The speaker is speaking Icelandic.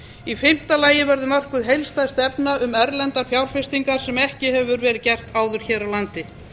í fimmta lagi verður mörkuð heildstæð stefna um erlendar fjárfestingar sem ekki hefur verið gert áður hér á landi